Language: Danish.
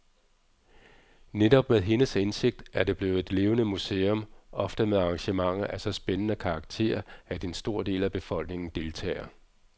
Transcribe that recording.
Netop med hendes indsigt er det blevet et levende museum, ofte med arrangementer af så spændende karakter, at en stor del af befolkningen deltager.